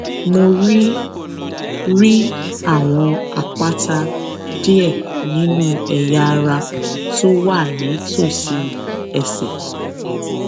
mo rí rí àwọn àpáta díẹ nínú ẹyà ara tó wà nítòsí ẹsè